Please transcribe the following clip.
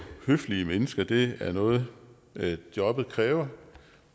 høflige mennesker det er noget jobbet kræver